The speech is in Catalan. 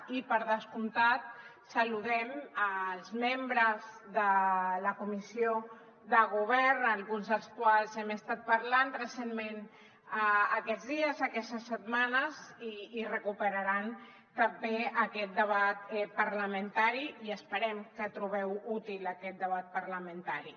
i per descomptat saludem els membres de la comissió de govern amb alguns dels quals hem estat parlant recentment aquests dies aquestes setmanes i recuperaran també aquest debat parlamentari i esperem que trobeu útil aquest debat parlamentari